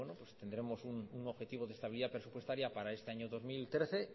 tendremos un objetivo de estabilidad presupuestaria para este año dos mil trece